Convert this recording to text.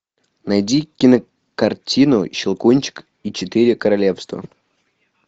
найди кинокартину щелкунчик и четыре королевства